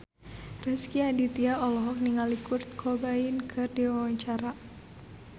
Rezky Aditya olohok ningali Kurt Cobain keur diwawancara